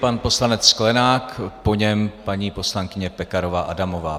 Pan poslanec Sklenák, po něm paní poslankyně Pekarová Adamová.